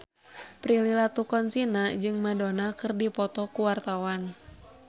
Prilly Latuconsina jeung Madonna keur dipoto ku wartawan